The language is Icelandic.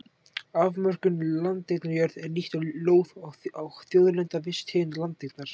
Afmörkun landeigna Jörð er líkt og lóð og þjóðlenda, viss tegund landeignar.